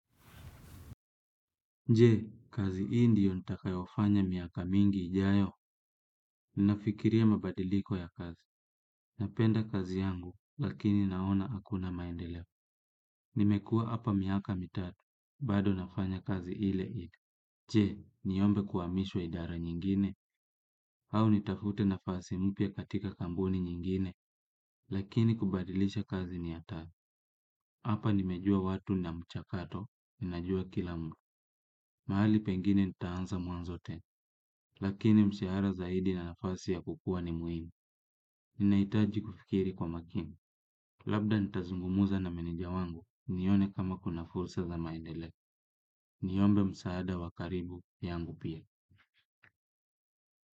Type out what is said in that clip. Je, kazi hii ndio nitakayofanya miaka mingi ijayo, ninafikiria mabadiliko ya kazi. Napenda kazi yangu, lakini naona hakuna maendeleo. Nimekuwa hapa miaka mitatu, bado nafanya kazi ile ile. Je niombe kuhamishwa idara nyingine au nitafute nafasi mpya katika kampuni nyingine lakini kubadilisha kazi ni hatari. Hapa nimejua watu na mchakato, ninajua kila mtu. Mahali pengine nitaanza mwanzo tena, lakini mshahara zaidi na nafasi ya kukua ni muhimu. Ninahitaji kufikiri kwa makini, labda nitazungumza na meneja wangu, nione kama kuna fursa za maendeleo. Niombe msaada wa karibu yangu pia.